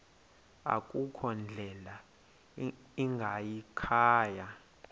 akukho ndlela ingayikhaya